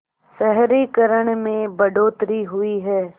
शहरीकरण में बढ़ोतरी हुई है